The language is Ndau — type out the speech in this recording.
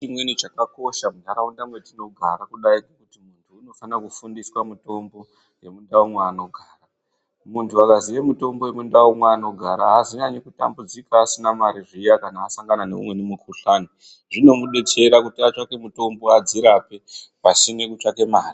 Chimweni chakakosha muntaraunda mwetinogara kudayi muntu unofane kufundiswa mitombo yemundau mwaanogara. Muntu akaziye mutombo yemundau mwaanogara haazonyanyi kutambudzika asina mare zviya kana asangana neumweni mukuhlani. Zvinomudetsera kuti atsvake mutombo adzirape, pasine kutsvake mare.